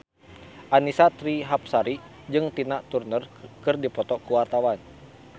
Annisa Trihapsari jeung Tina Turner keur dipoto ku wartawan